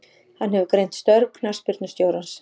Hann hefur greint störf knattspyrnustjórans.